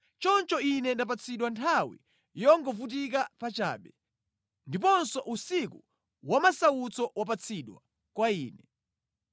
choncho ine ndapatsidwa nthawi yongovutika pachabe, ndiponso usiku wamasautso wapatsidwa kwa ine.